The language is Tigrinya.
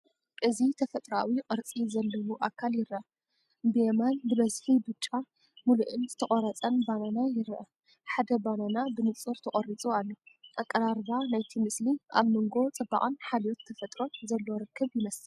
እዚ ተፈጥሮኣዊ ቅርጺ ዘለዎ ኣካል ይረአ። ብየማን ብብዝሒ ብጫ፡ ምሉእን ዝተቖርጸን ባናና ይርአ። ሓደ ባናና ብንጹር ተቖሪጹ ኣሎ። ኣቀራርባ ናይቲ ምስሊ ኣብ መንጎ ጽባቐን ሓልዮት ተፈጥሮን ዘሎ ርክብ ይመስል።